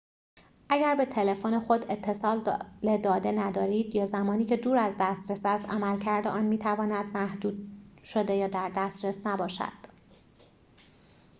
اگر به تلفن خود اتصال داده ندارید یا زمانی که دور از دسترس است عملکرد آن می‌تواند محدود شده یا در دسترس نباشد